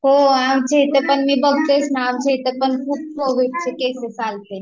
हो, आमच्या इथे पण मी बघतेच ना आमच्या इथे पण खूप चे केस चालते